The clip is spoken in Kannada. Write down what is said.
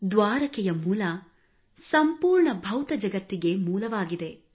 ದ್ವಾರಕೆಯ ಮೂಲ ಸಂಪೂರ್ಣ ಭೌತ ಜಗತ್ತಿಗೆ ಮೂಲವಾಗಿದೆ